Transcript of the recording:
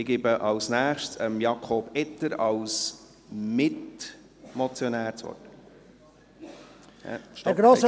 Ich gebe als Nächstes Jakob Etter als Mitmotionär das Wort.